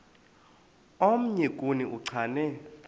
omnye kuni uchane